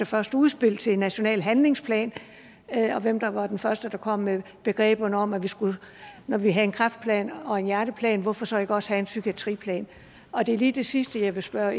første udspil til en national handlingsplan og hvem der var den første der kom med ideen om at når vi havde en kræftplan og en hjerteplan hvorfor så ikke også have en psykiatriplan og det er lige det sidste jeg vil spørge